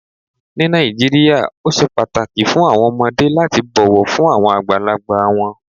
Ní Nàìjíríà, ó sè páàtàkì fún awọn ọmọdé lati bọ̀ wọ̀ fún awọn agbálagbà wọn.